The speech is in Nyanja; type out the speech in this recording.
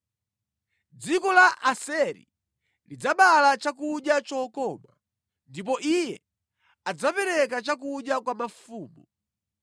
“Dziko la Aseri lidzabereka chakudya chokoma, ndipo iye adzapereka chakudya kwa mafumu.